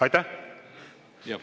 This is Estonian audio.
Aitäh!